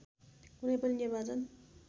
कुनै पनि निर्वाचन